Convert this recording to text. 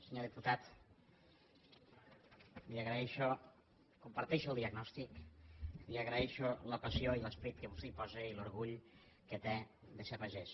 senyor diputat comparteixo el diagnòstic li agraeixo la passió i l’esperit que vostè hi posa i l’orgull que té de ser pagès